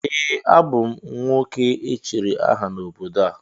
Ee, a bụ m nwoke echiri aha n’obodo a